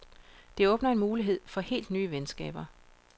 Det åbner en mulighed for helt nye venskaber.